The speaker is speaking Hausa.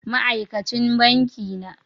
Ma aikacin banki na